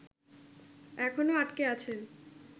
এখনও আটকে আছেন